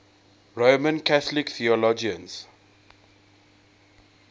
roman catholic theologians